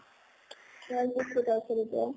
তাৰ পিছত এতিয়া